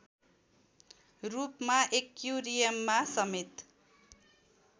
रूपमा एक्युरियममा समेत